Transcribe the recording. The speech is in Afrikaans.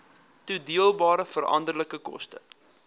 toedeelbare veranderlike koste